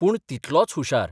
पूण तितलोच हुशार.